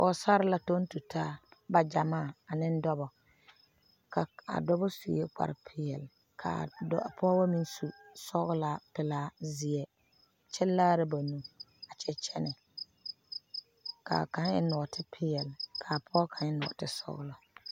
Pɔgsaare la tɔŋ tu taa ba waa l agyamaa ane dɔba a dɔba sue kparre peɛle kaa pɔgeba meŋ su sɔgelaa pelaa zeɛ kyɛ kaara ba nuure a kyɛ kyɛnɛ kaa kaŋa eŋ nɔɔte peɛle ka pɔge kaŋa eŋ nɔɔte sɔgelɔ